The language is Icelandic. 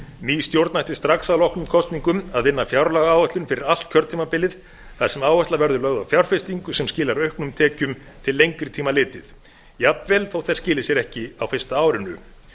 ný stjórn ætti strax að loknum kosningum að vinna fjárlagaáætlun fyrir allt kjörtímabilið þar sem áhersla verður lögð á fjárfestingu sem skilar auknum tekjum til lengri tíma litið jafnvel þótt þær skili sér ekki á fyrsta árinu